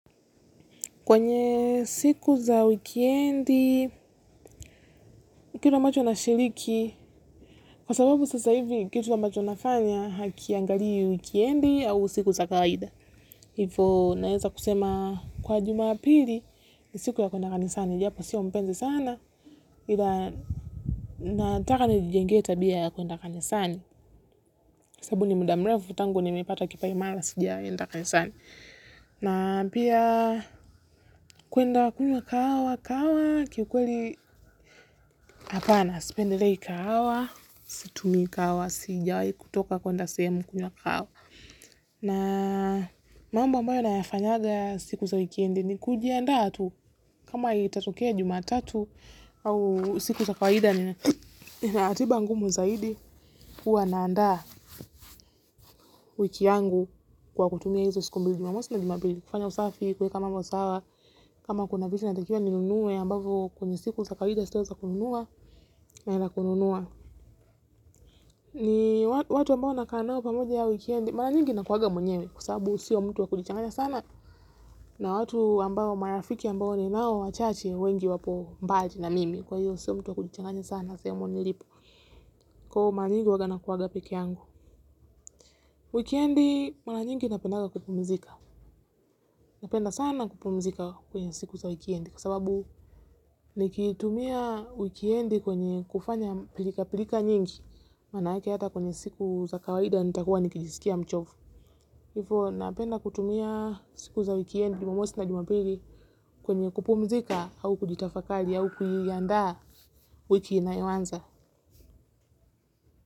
Kwenye siku za wikiendi, kitu ambacho nashiriki, kwa sababu sasa hivi kitu wa macho nafanya hakiangalii wikendi au siku za kawaida. Hivo naeza kusema kwa jumapili ni siku ya kuenda kanisani japo si mpenzi sana nataka nijijengee tabia ya kuenda kanisani. Sababu ni mda mrefu tangu nimepata kipaimala sijaenda kanisani. Na pia kuenda kunywa kahawa kahawa kiukweli hapana sipendelei kagawa situmi kahawa sijawai kutoka kuenda sehemu kunywa kahawa. Na mambo ambayo nayafanyaga siku za wikindi ni kujiandaa tu kama litatokea jumatatu au siku za kawaida nina atiba ngumu zaidi. Kuwa naanda wiki yangu kwa kutumia hizo siku mbili na mostly kufanya usafi kueka mambo sawa kama kuna vitu natakiwa ninunue ambavo kwenye siku za kawida sio za kununua nanunua ni watu ambao nakaa nao pamoja wikendi mara nyingi nakuwangs mwenyewe sababu sio mtu wa kujichanganya sana na watu ambao marafiki ambao ni nao wachache wengi wapo mbali na mimi kwa hiyo sio mtu wa kujichanganya sana sehemu nilipo nyingi huwaga nakuwaga peke yangu wikindi mara nyingi napendaga kupumizika. Napenda sana kupumzika kwenye siku za wikendi kwa sababu nikitumia wikendi kwenye kufanya pilika pilika nyingi maanake hata kwenye siku za kawaida nitakuwa nikijiskia mchovu hivo napenda kutumia siku za wikendi jumamosi na jumapili kwenye kupumzika au kujitafakali au kuiandaa wiki inayoanza.